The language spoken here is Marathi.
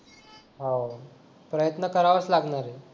हो प्रयत्न करावाच लागणार आहे